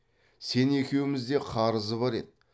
сен екеумізде қарызы бар еді